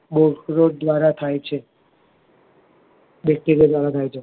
બોવ ખુબજ દ્વારા થાય છે Bacteria દ્વારા થાય છે